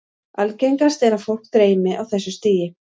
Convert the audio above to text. Algengast er að fólk dreymi á þessu stigi.